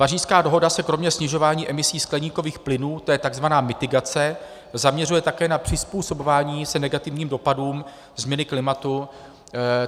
Pařížská dohoda se kromě snižování emisí skleníkových plynů - to je tzv. mitigace - zaměřuje také na přizpůsobování se negativním dopadům změny klimatu.